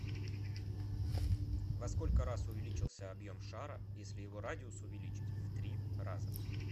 во сколько раз увеличился объем шара если его радиус увеличить в три раза